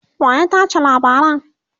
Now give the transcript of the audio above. waya tace labaran?